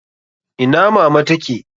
Ina mama ta ke?